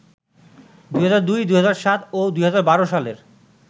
২০০২, ২০০৭ ও ২০১২ সালের